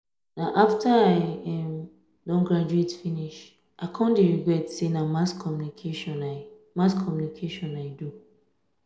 na after i um don graduate finish i um come dey regret say na mass communication i mass communication i do